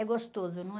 É gostoso, não é?